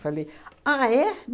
Falei, ah, é?